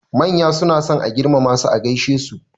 Manya suna son a girmama su a gaishe.